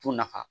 Tɔn nafa